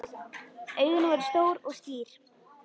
Augun voru stór og skýr.